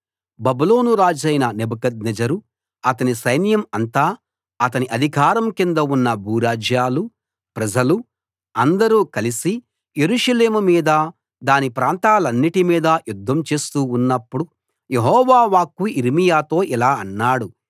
బబులోను రాజైన నెబుకద్నెజరు అతని సైన్యం అంతా అతని అధికారం కింద ఉన్న భూరాజ్యాలు ప్రజలు అందరూ కలిసి యెరూషలేము మీద దాని ప్రాంతాలన్నిటి మీద యుద్ధం చేస్తూ ఉన్నప్పుడు యెహోవా వాక్కు యిర్మీయాతో ఇలా అన్నాడు